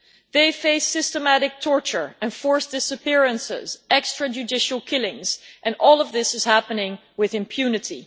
They face systematic torture, enforced disappearances and extrajudicial killings, and all of this is happening with impunity.